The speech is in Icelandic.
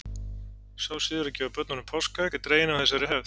Sá siður að gefa börnum páskaegg er dreginn af þessari hefð.